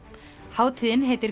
hátíðin heitir